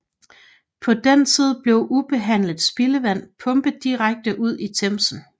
På den tid blev ubehandlet spildevand pumpet direkte ud i Themsen